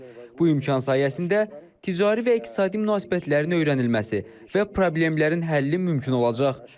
Bu imkan sayəsində ticari və iqtisadi münasibətlərin öyrənilməsi və problemlərin həlli mümkün olacaq.